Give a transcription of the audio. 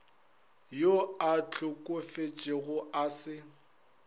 yo a hlokofetšego a se